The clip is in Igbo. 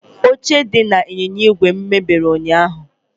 Oche dị n'ịnyịnya igwe m mebiri ụnyaahụ.